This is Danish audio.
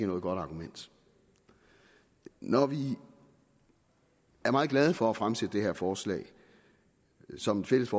noget godt argument når vi er meget glade for at fremsætte det her forslag som et fælles